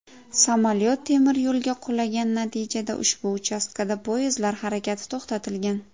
Samolyot temiryo‘lga qulagan, natijada ushbu uchastkada poyezdlar harakati to‘xtatilgan.